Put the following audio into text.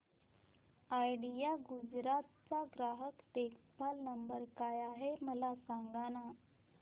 idea Gujarat चा ग्राहक देखभाल नंबर काय आहे मला सांगाना